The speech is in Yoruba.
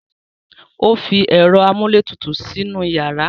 O fi ẹ̀rọ amúlétutù sínú yàrá.